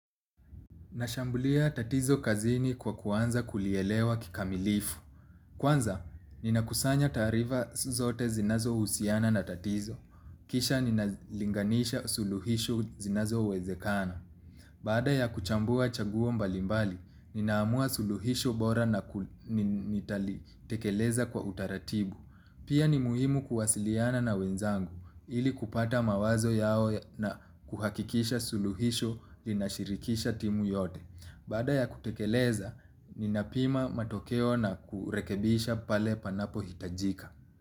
Nashambulia tatizo kazini kwa kuanza kulielewa kikamilifu. Kwanza ninakusanya taarifa zote zinazohusiana na tatizo. Kisha ninalinganisha suluhisho zinazowezekana. Baada ya kuchambua chaguo mbalimbali, ninaamua suluhisho bora na nitalitekeleza kwa utaratibu. Pia ni muhimu kuwasiliana na wenzangu ili kupata mawazo yao na kuhakikisha suluhisho linashirikisha timu yote. Baada ya kutekeleza, ninapima matokeo na kurekebisha pale panapohitajika.